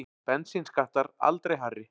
Bensínskattar aldrei hærri